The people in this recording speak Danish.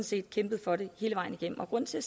set kæmpet for det hele vejen igennem grunden til at